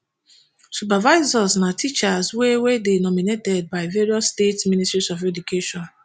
supervisors na teachers wey wey dey nominated by various state ministries of education